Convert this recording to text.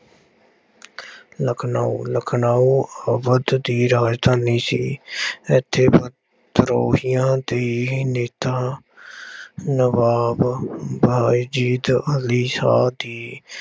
ਲਖਨਊ- ਲਖਨਊ ਅਵਧ ਦੀ ਰਾਜਧਾਨੀ ਸੀ। ਇੱਥੇ ਵਿਦਰੋਹੀਆਂ ਦੇ ਨੇਤਾ ਨਵਾਬ ਬਾਏਜੀਤ ਅਲੀ ਸ਼ਾਹ ਦੀ